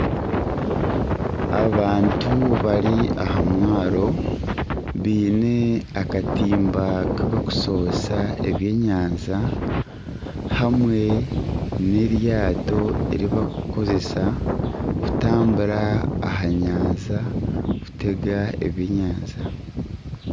Abantu bari aha mwaaro baine akatimba aku barikushohezesa eby'enyanja hamwe n'eryaato eribarikukozesa kurambura aha nyanja kutega ebyenyanja.